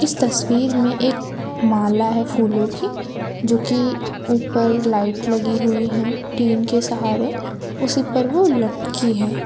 तस्वीर में एक माला है फूलों की जो कि ऊपर लाइट लगी हुई है टीन के सहारे उसी पर वो लटकी है।